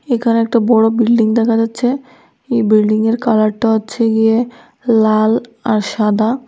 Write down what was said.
এখানে একটা বড় বিল্ডিং দেখা যাচ্ছে এই বিল্ডিংয়ের কালারটা হচ্ছে গিয়ে লাল আর সাদা।